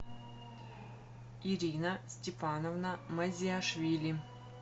ирина степановна мазиашвили